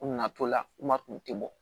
U nana to la u ma kun tɛ bɔ